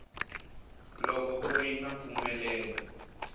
loko ku ri na mpfumelelo